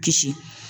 Kisi